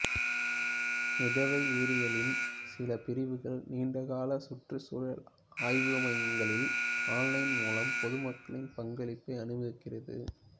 மிதவை உயிரியலின் சில பிரிவுகள் நீண்டகால சுற்றுச்சூழல் ஆய்வுமையங்களில் ஆன்லைன் மூலம் பொதுமக்களின் பங்களிப்பை அனுமதிக்கிறது